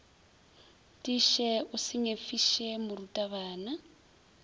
tiiše o se nyefiše morutabana